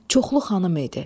Çoxlu xanım idi.